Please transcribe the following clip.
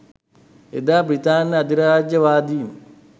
එදා බ්‍රිතාන්‍ය අධිරාජ්‍යවාදීන්